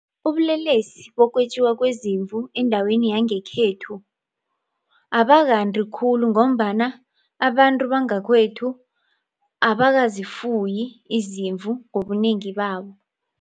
Ubulelesi bokwetjiwa kwezimvu endaweni yangekhethu abakathandi khulu ngombana abantu bangakwethu abakazifuyi izimvu ngobunengi babo.